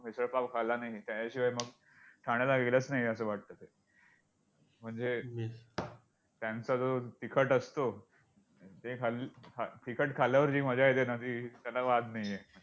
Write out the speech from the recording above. मिसळ पाव खाल्ला नाही त्याच्याशिवाय मग ठाण्याला गेलंच नाही असं वाटतं ते! म्हणजे त्यांचा जो तिखट असतो ते खाल्ल्~तिखट खाल्ल्यावर जी मजा येते ना ती त्याला वाद नाही आहे.